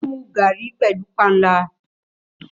Ó ń mu garrí pẹ̀lú panla.